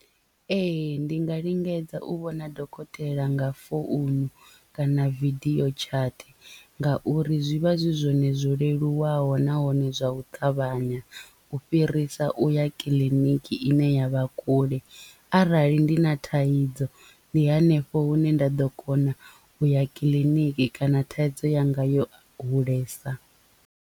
Ee ndi nga lingedza u vhona dokotela nga founu kana video chat ngauri zwi vha zwi zwone zwo leluwaho nahone zwa u ṱavhanya u fhirisa uya kiḽiniki ine ya vha kule arali ndi na thaidzo ndi hanefho hune nda ḓo kona u ya kiḽiniki kana thaidzo yanga yo hulesa.